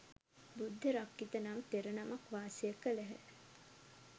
බුද්ධ රක්ඛිත නම් තෙර නමක් වාසය කළහ.